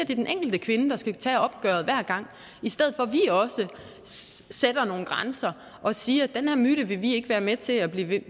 det den enkelte kvinde der skal tage opgøret hver gang i stedet for at vi også sætter nogle grænser og siger at den her myte vil vi ikke være med til at blive ved